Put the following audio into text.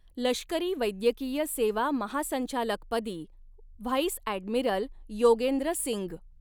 लष्करी वैद्यकीय सेवा महासंचालकपदी व्हाईस ॲडमिरल योगेंद्र सिंग